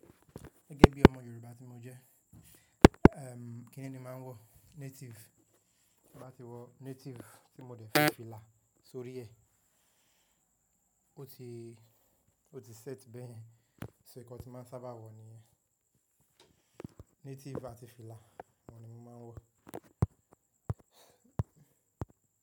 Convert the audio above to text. Gẹ́gẹ́ bí ọmọ Yorùbá tí mo jẹ́, ẹm, kíni ni máa ń wọ Native. Mo máa ti wọ Native tí mo dẹ́ fi fìlà sórí ẹ. Ó ti, ó ti set bẹ́yen, nitori naa nkan tíì máa sábà wọ̀ níyẹn. Native àti fìlà, wọ́n ni mo máa ń wọ̀